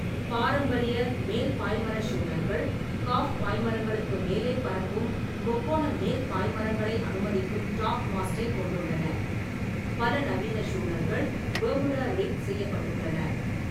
பாரம்பரிய மேல் பாய்மரப் ஷூனர்கள், காஃப் பாய்மரங்களுக்கு மேலே பறக்கும் முக்கோண மேல் பாய்மரங்களை அனுமதிக்கும் டாப்மாஸ்ட்டைக் கொண்டுள்ளன; பல நவீன ஷூனர்கள் பெர்முடா ரிக் செய்யப்பட்டுள்ளன.